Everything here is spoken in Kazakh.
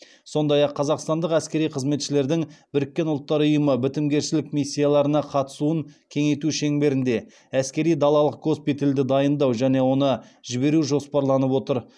сондай ақ қазақстандық әскери қызметшілердің біріккен ұлттар ұйымы бітімгершілік миссияларына қатысуын кеңейту шеңберінде әскери далалық госпитальді дайындау және оны жіберу жоспарланып отыр